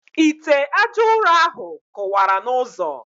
Ite ajaụrọ ahụ kụwara n' ụzọ.